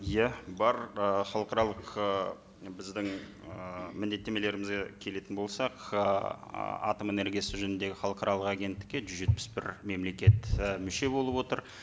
иә бар ы халықаралық ы біздің ыыы міндеттемелерімізге келетін болсақ ыыы атом энергиясы жөніндегі халықаралық агенттікке жүз жетпіс бір мемлекет і мүше болып отыр